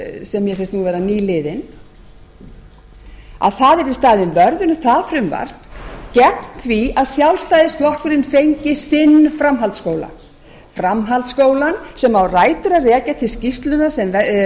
sem mér finnst nú vera nýliðin að það yrði staðinn vörður um það frumvarp gegn því að sjálfstæðisflokkurinn fengi sinn framhaldsskóla framhaldsskólana sem á rætur að rekja til skýrslunnar sem